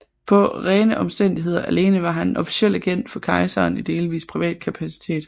På rene omstændigheder alene var han en officiel agent for kejseren i delvis privat kapacitet